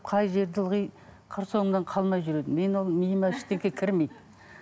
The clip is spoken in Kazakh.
қай жерде ылғи қыр соңымнан қалмай жүреді менің ол миыма ештеңе кірмейді